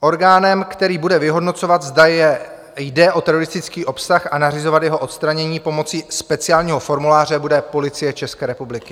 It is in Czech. Orgánem, který bude vyhodnocovat, zda jde o teroristický obsah, a nařizovat jeho odstranění pomocí speciálního formuláře, bude Policie České republiky.